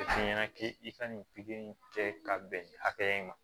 F'i ɲɛna k'i ka nin in kɛ ka bɛn nin hakɛya in ma